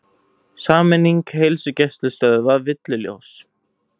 Sameining heilsugæslustöðva villuljós